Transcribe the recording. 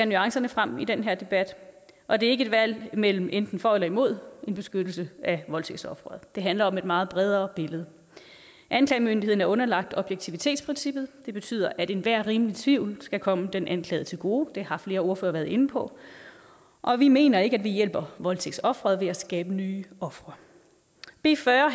nuancerne frem i den her debat og det er ikke et valg imellem enten for eller imod en beskyttelse af voldtægtsofferet det handler om et meget bredere billede anklagemyndigheden er underlagt objektivitetsprincippet det betyder at enhver rimelig tvivl skal komme den anklagede til gode det har flere ordførere været inde på og vi mener ikke at vi hjælper voldtægtsofferet ved at skabe nye ofre b fyrre